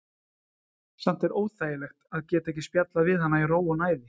Samt er óþægilegt að geta ekki spjallað við hana í ró og næði.